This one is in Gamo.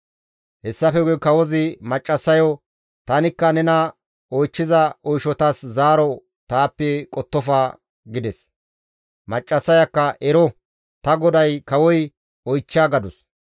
Hessafe guye kawozi maccassayo, «Tanikka nena oychchiza oyshatas zaaro taappe qottofa» gides. Maccassayakka, «Ero, ta goday Kawoy oychcha» gadus.